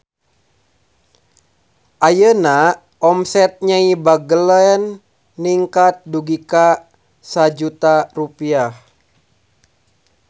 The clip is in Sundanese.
Ayeuna omset Nyai Bagelen ningkat dugi ka 1 juta rupiah